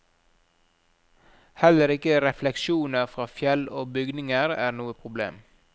Heller ikke refleksjoner fra fjell og bygninger er noe problem.